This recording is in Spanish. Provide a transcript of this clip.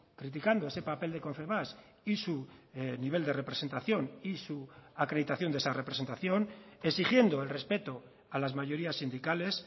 criticando ese papel de confebask y su nivel de representación y su acreditación de esa representación exigiendo el respeto a las mayorías sindicales